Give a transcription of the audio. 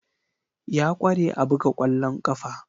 Ya kware a buga kwallon kafa.